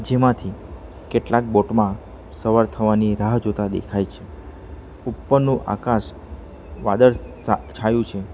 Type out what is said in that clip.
તેમાંથી કેટલાક બોટમાં સવાર થવાની રાહ જોતા દેખાય છે ઉપરનો આકાશ વાદળ સા છાયું છે.